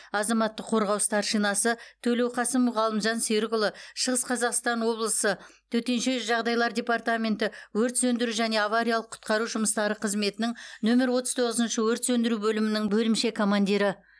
азаматтық қорғау старшинасы төлеуқасымов ғалымжан серікұлы шығыс қазақстан облысы төтенше жағдайлар депертаменті өрт сөндіру және авариялық құтқару жұмыстары қызметінің нөмір отыз тоғызыншы өрт сөндіру бөлімінің бөлімше командирі